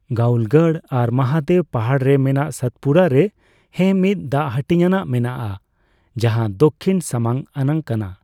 ᱜᱟᱣᱞᱜᱚᱲ ᱟᱨ ᱢᱚᱦᱟᱫᱮᱣ ᱯᱟᱦᱟᱲ ᱨᱮ ᱢᱮᱱᱟᱜ ᱥᱟᱛᱯᱩᱨᱟ ᱨᱮ ᱦᱮᱸ ᱢᱤᱫ, ᱫᱟᱜᱽᱦᱟᱹᱴᱤᱧᱟᱜ ᱢᱮᱱᱟᱜᱼᱟ ᱡᱟᱦᱟᱸ ᱫᱚᱠᱷᱤᱱ ᱥᱟᱢᱟᱝ ᱟᱱᱟᱜ ᱠᱟᱱᱟ ᱾